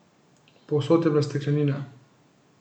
Povsod je bila steklenina.